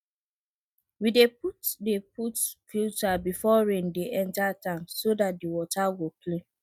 we dey put dey put stone filter before rain dey enter tank so dat the water go clean